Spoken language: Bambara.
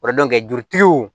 jurutigiw